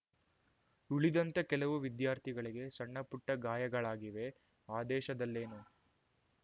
ಉಳಿದಂತೆ ಕೆಲವು ವಿದ್ಯಾಥಿಗಳಿಗೆ ಸಣ್ಣಪುಟ್ಟಗಾಯಗಳಾಗಿವೆ ಆದೇಶದಲ್ಲೇನು